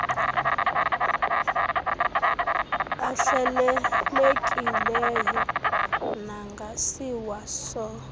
ahlelelekileyo nangasiwa so